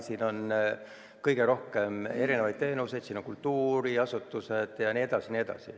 Siin on kõige rohkem erinevaid teenuseid, siin on kultuuriasutusi jne.